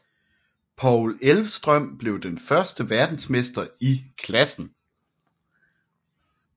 Paul Elvstrøm blev den første verdensmester i klassen